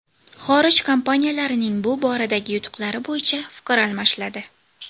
Xorij kompaniyalarining bu boradagi yutuqlari bo‘yicha fikr almashiladi.